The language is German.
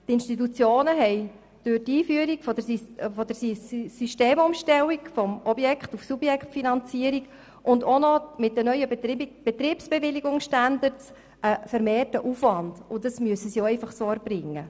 Die Institutionen haben durch die Einführung der Systemumstellung von der Objekt- zur Subjektfinanzierung und auch mit den neuen Betriebsbewilligungsstandards einen vermehrten Aufwand, und diesen müssen sie einfach so erbringen.